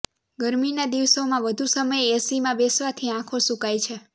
ગરમીના દિવસોમાં વધુ સમય એસીમાં બેસવાથી આંખો સુકાય છે